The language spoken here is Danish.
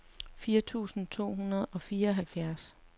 fyrre tusind to hundrede og fireoghalvfjerds